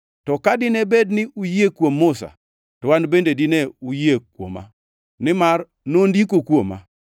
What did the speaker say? To ka dine bed ni uyie kuom Musa, to An bende dine uyie kuoma, nimar nondiko kuoma.